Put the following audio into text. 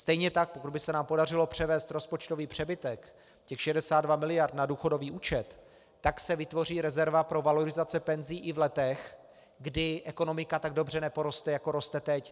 Stejně tak pokud by se nám podařilo převést rozpočtový přebytek, těch 62 mld., na důchodový účet, tak se vytvoří rezerva pro valorizace penzí i v letech, kdy ekonomika tak dobře neporoste, jako roste teď.